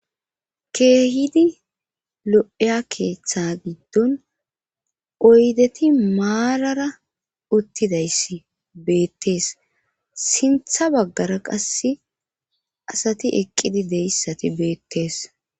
Keehidi lo'eya keeththa giddon oydeti maarara uttidayssi beettees sintha baggara qasse asati eqqidi deyssati beettee.